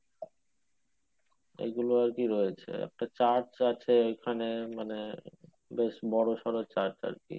এগুলো আরকি রয়েছে একটা church আছে ওখানে মানে বেশ বোরো সরো church আরকি